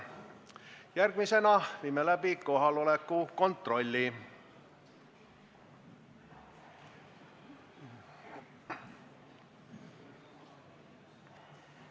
Järgmisena viime läbi kohaoleku kontrolli.